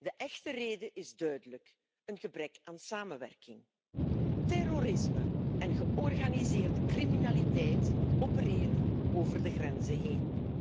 De echte reden is duidelijk een gebrek aan samenwerking. Terrorisme en georganiseerde criminaliteit opereren over de grenzen heen.